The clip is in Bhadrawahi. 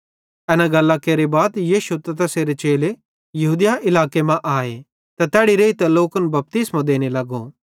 एना गल्लां केरे बाद यीशु त तैसेरे चेले यहूदिया इलाके मां आए त तैड़ी रेइतां लोकन बपतिस्मो देने लग्गे